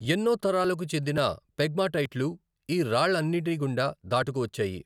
ఎన్నో తరాలకు చెందిన పెగ్మాటైట్లు ఈ రాళ్ళన్నింటి గుండా దాటుకువచ్చాయి.